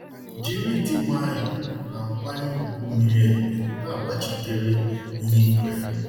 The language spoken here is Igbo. Jiri ịdị nwayọọ na nkwanye ùgwù miri emi, n'agbachitere ihe i kweere.